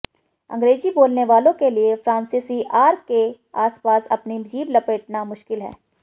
अंग्रेजी बोलने वालों के लिए फ्रांसीसी आर के आसपास अपनी जीभ लपेटना मुश्किल है